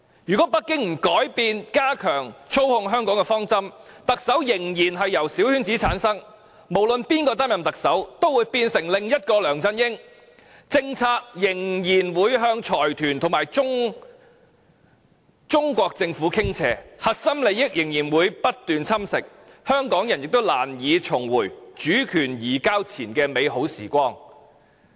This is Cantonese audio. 如果北京不改變加強操控香港的方針，特首仍然由小圈子產生，無論由誰擔任特首，都會變成另一個梁振英，政策仍然會向財團和中國政府傾斜，核心價值仍會被不斷侵蝕，香港人亦難以重回主權移交前的美好時光。